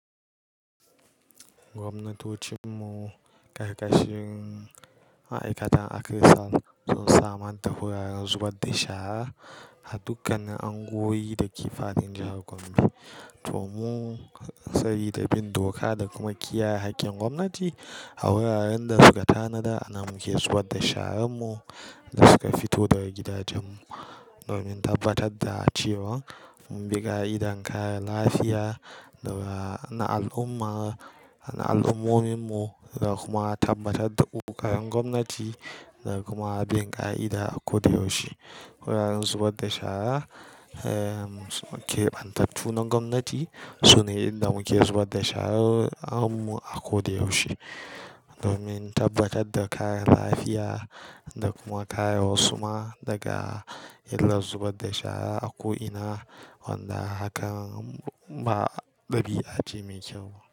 Gwamnatocin mu, ƙarƙashin ma'aikatan akrisal, sun samar da wuraren zubar da shara a dukkanin unguwanni da kifafin jahar gombe. To mu sayi da bin doka da kuma kiyaye haƙƙin gwamnati a wuraren da suka tanada, ana muke zubar da sharanmu da suka fito daga gidajen mu. Domin tabbatar da cewa mun bi ka'idar kare lafiya na al'umma, na al'ummomin mu, da kuma tabbatar da ƙoƙarin gwamnati da kuma bin ka'ida a koda yaushe. Wuraren zubar da shara, keɓantattu na gwamnati, sune inda muke zubar da shara'n mu a ko da yaushe. Domin tabbatar da kare lafiya da kuma kare wasu ma daga illar zubar da shara a ko'ina, wanda hakan ba ɗabi'a ce mai kyau.